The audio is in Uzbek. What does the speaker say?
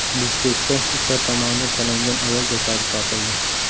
Bishkekda itlar tomonidan talangan ayol jasadi topildi.